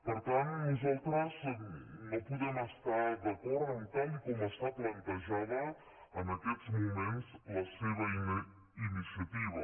per tant nosaltres no podem estar d’acord amb tal com està plantejada en aquests moments la seva iniciativa